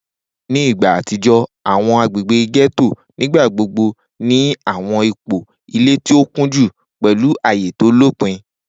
Ni igba atijọ, awọn agbegbe getto nigbagbogbo ni awọn ipo ile ti o kunju, pẹlu aaye to lopin.